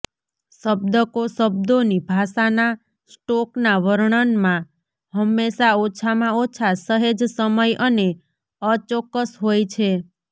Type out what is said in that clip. શબ્દકો શબ્દોની ભાષાના સ્ટોકના વર્ણનમાં હંમેશાં ઓછામાં ઓછા સહેજ સમય અને અચોક્કસ હોય છે